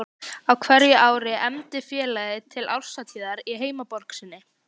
Á hverju ári efndi félagið til árshátíðar í heimaborg sinni